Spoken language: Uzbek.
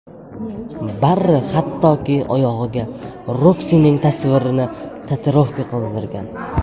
Barri hattoki oyog‘iga Roksining tasvirini tatuirovka qildirgan.